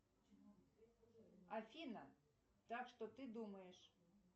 афина так что ты думаешь